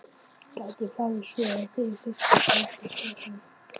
Gæti farið svo að þið þyrftuð að fækka skepnum?